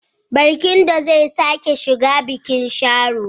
Barkindo zai sake shiga bikin Sharo.